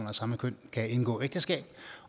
af samme køn kan indgå ægteskab